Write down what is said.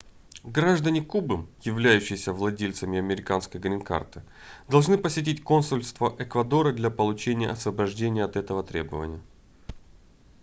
граждане кубы являющиеся владельцами американской грин-карты должны посетить консульство эквадора для получения освобождения от этого требования